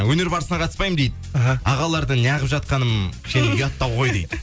өнер барысына қатыспаймын дейді іхі ағалардың неағып жатқаным кішкене ұяттау ғой дейді